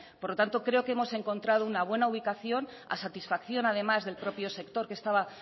por lo tanto creo que hemos encontrado una buena ubicación a satisfacción además del propio sector que estaba